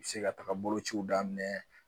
Se ka taga bolociw daminɛ